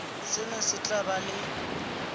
sena se tla ba le